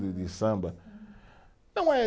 De de samba? Não é